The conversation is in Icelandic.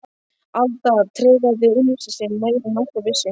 Alda tregaði unnusta sinn meira en nokkur vissi.